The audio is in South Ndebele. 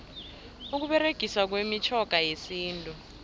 ukuberegiswa kwemitjhoga yesintu